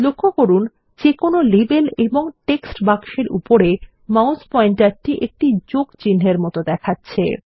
লক্ষ্য করুন যে কোনো লেবেল এবং টেক্সট বাক্সের উপরে মাউস পয়েন্টার টি একটি যোগ চিনহের মত দেখাচ্ছে